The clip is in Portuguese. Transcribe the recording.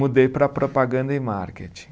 Mudei para propaganda e marketing.